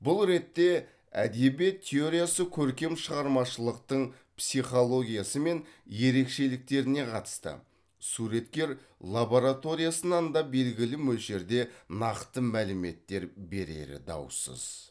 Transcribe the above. бұл ретте әдебиет теориясы көркем шығармашылықтың психологиясы мен ерекшеліктеріне қатысты суреткер лабораториясынан да белгілі мөлшерде нақты мәліметтер берері даусыз